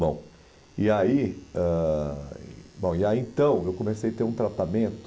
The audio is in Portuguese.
Bom, e aí ãh bom e aí então eu comecei a ter um tratamento.